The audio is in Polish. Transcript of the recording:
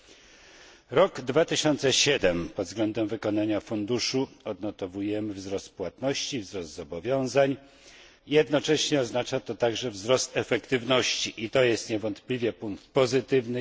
W roku 2007 pod względem wykonania funduszu odnotowujemy wzrost płatności i wzrost zobowiązań, jednocześnie oznacza to także wzrost efektywności i jest to niewątpliwie punkt pozytywny.